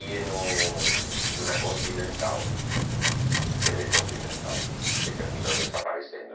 E no e na Continental, tê vê Continental, que terminou desaparecendo.